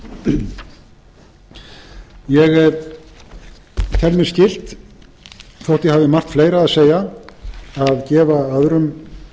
halldórsdóttir ég tel mér skylt þótt ég hafi margt fleira að segja að gefa öðrum